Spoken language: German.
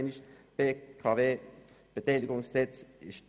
Ich sage es nochmals: